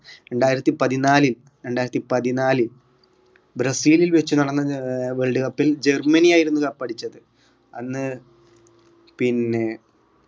രണ്ടായിരത്തി പതിനാലിൽ രണ്ടായിരത്തി പതിനാല് ബ്രസീലിൽ വെച്ച് നടന്ന ഏർ world cup ൽ ജർമ്മനിയായിരുന്നു cup അടിച്ചത് അന്ന് പിന്നെ